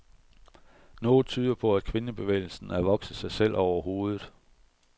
Noget tyder på, at kvindebevægelsen er vokset sig selv over hovedet.